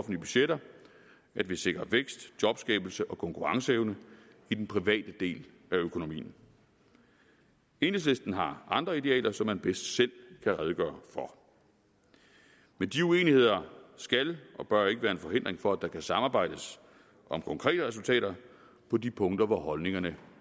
budgetter at vi sikrer vækst jobskabelse og konkurrenceevne i den private del af økonomien enhedslisten har andre idealer som man bedst selv kan redegøre for men de uenigheder skal og bør ikke være en hindring for at der kan samarbejdes om konkrete resultater på de punkter hvor holdningerne